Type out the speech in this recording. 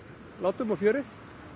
látum og fjöri